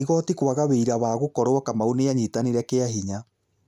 Igoti kwaga wĩira wa gũkorwo Kamau nĩanyitanire kĩa hinya